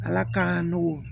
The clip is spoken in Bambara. Ala k'an nɔgɔn